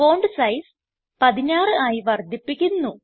font size 16 ആയി വർദ്ധിപ്പിക്കുന്നു